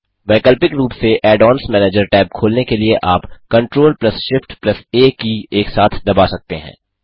वैकल्पिक रूप से add ओन्स मैनेजर टैब खोलने के लिए आप Ctrl Shift आ की एक साथ दबा सकते हैं